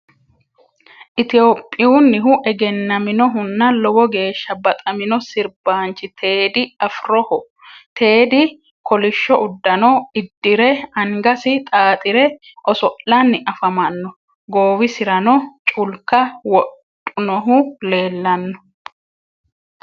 Ethiophiyunnihu egennaminohunna lowo geeshsha baxamino sirbaanchi Tedy afiroho. Tedy kolishsho uddano iddire angasi xaaxire oso'lanni afamanno. Goowisirano culka wodhunohu leellanno.